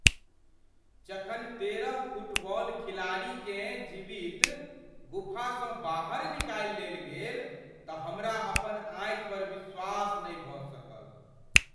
जखन तेरह फुटबॉल खिलाड़ीकेँ जीवित गुफासँ बाहर निकालि लेल गेल तऽ हमरा अपन आँखि पर विश्वास नहि भऽ सकल।